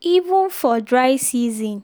even for dry season